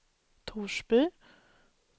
Torsby